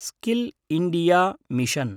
skill India mission